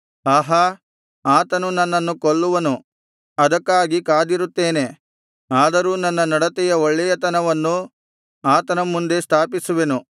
ಆಹಾ ಆತನು ನನ್ನನ್ನು ಕೊಲ್ಲುವನು ಅದಕ್ಕಾಗಿ ಕಾದಿರುತ್ತೇನೆ ಆದರೂ ನನ್ನ ನಡತೆಯ ಒಳ್ಳೆಯತನವನ್ನು ಆತನ ಮುಂದೆ ಸ್ಥಾಪಿಸುವೆನು